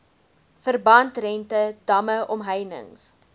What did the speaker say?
verbandrente damme omheinings